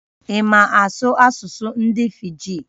Ị̀ ma asụsụ ndị Fiji?